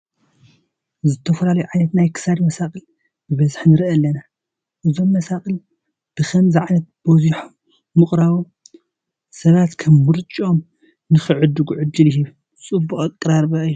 ዝተፈላለዩ ዓይነት ናይ ክሳድ መሳቕል ብበዝሒ ንርኡ ኣለና፡፡ እዞም መሳቕል ብከምዚ ዓይነት በዚሖም ምኽራቦም፡፡ ሰባት ከም ምርጭኦም ንክዕድጉ ዕድል ይህብ፡፡ ፅቡቕ ኣቀራርባ እዩ፡፡